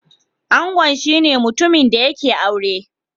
Angon shine mutumin da yake aure.